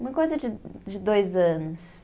Uma coisa de de dois anos.